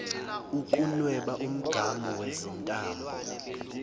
ukunweba umgamu wezintambo